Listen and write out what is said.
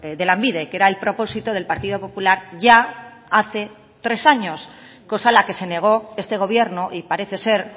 de lanbide que era el propósito del partido popular ya hace tres años cosa a la que se negó este gobierno y parece ser